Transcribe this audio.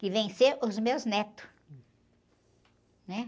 Que vem ser os meus netos, né?